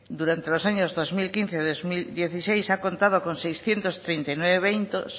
durante los años dos mil quince dos mil dieciséis ha contado con seiscientos treinta y nueve eventos